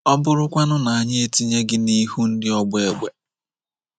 “Ọ bụrụkwanụ na anyị etinye gi n'ihu ndị ọgba egbe? ”